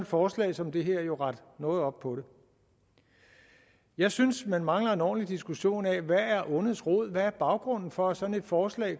forslag som det her jo rette noget op på det jeg synes vi mangler en ordentlig diskussion af hvad der er ondets rod hvad er baggrunden for at sådan et forslag